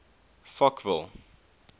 fochville